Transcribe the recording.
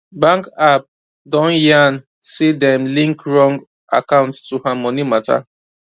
bank app don yan say dem link wrong account to her money matter